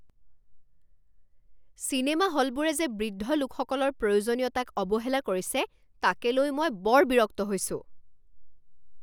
Cinema হলবোৰে যে বৃদ্ধ লোকসকলৰ প্ৰয়োজনীয়তাক অৱহেলা কৰিছে তাকে লৈ মই বৰ বিৰক্ত হৈছোঁ।